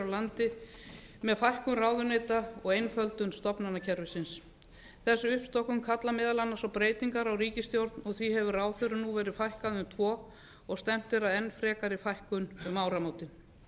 landi með fækkun ráðuneyta og einföldun stofnanakerfisins þessi uppstokkun kallar meðal annars á breytingar á ríkisstjórn og því hefur ráðherrum nú verið fækkað um tvo og stefnt er að enn frekari fækkun um áramótin